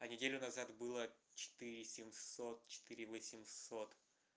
неделю назад было четыре семьсот четыре восемьсот